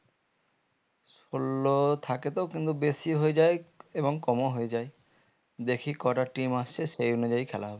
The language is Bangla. ষোলো থাকে তো কিন্তু বেশিও হয়ে যাই এবং কম ও হয়ে যাই দেখি কটা team আসে সেই অনুযায়ী খেলা হবে